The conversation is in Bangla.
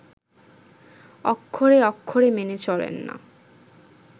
অক্ষরে অক্ষরে মেনে চলেন না